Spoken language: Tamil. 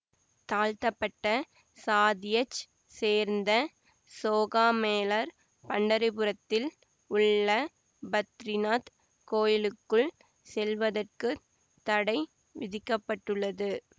தாழ்த்தப்பட்ட சாதியச் சேர்ந்த சோகாமேளர் பண்டரி புரத்தில் உள்ள பத்ரிநாத் கோயிலுக்குள் செல்வதற்கு தடை விதிக்கப்பட்டது